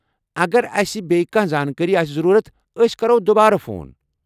اگر اسہِ بییٚہِ کیٚنٛہہ زانٛکٲرِی آسہِ ضروٗرَت، ٲسۍ کرَو دُبارٕ فون۔